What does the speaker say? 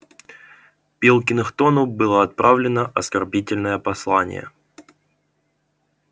пилкингтону было отправлено оскорбительное послание